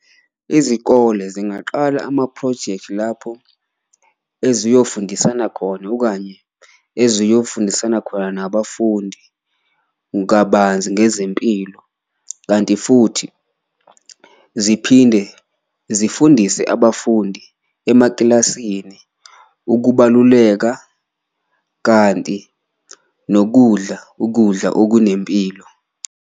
Izikole zingaqala amaphrojekthi lapho eziyofundisana khona okanye eziyofundisana khona nabafundi kabanzi ngezempilo, kanti futhi ziphinde zifundise abafundi emakilasini ukubaluleka, kanti nokudla ukudla okunempilo.